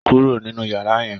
Kúrò nínú yàrá yẹn